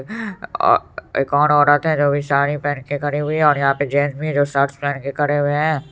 ओ- एक और औरत जो भी साड़ी पेहन के खड़ी हुई है और यहाँ पे जेंट्स भी है जो शर्टस पेहन के खड़े हुए है।